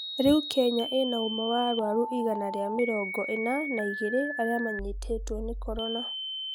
Rĩu Kenya ĩna ũma wa arũaru igana rĩa mĩrongo ina na igiri arĩa manyitituo nĩ Corona